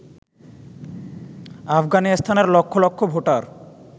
আফগানিস্তানের লক্ষ লক্ষ ভোটার